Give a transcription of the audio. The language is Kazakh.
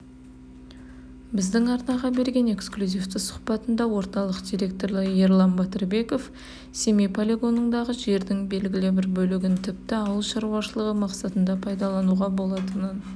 біздің арнаға берген эксклюзивті сұхбатында орталық директоры ерлан батырбеков семей полигонындағы жердің белгілі бір бөлігін тіпті ауыл шаруашылығы мақсатына пайдалануға болатынын